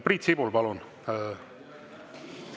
Priit Sibul, palun!